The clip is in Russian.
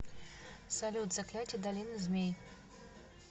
салют заклятия долины змей